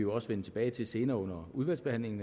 også vende tilbage til senere under udvalgsbehandlingen